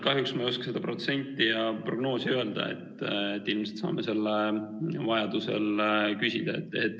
Kahjuks ma ei oska seda protsenti ja prognoosi öelda, ilmselt saame selle vajadusel küsida.